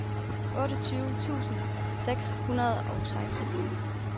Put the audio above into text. otteogtyve tusind seks hundrede og seksten